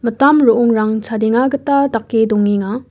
ro·ongrang chadenga gita dake dongenga.